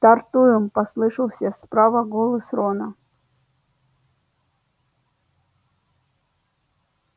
стартуем послышался справа голос рона